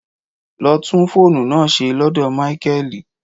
Lọ tún fóònù náà ṣe lọ́dọ̀ Máíkẹ́lì.